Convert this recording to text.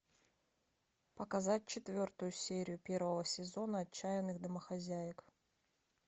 показать четвертую серию первого сезона отчаянных домохозяек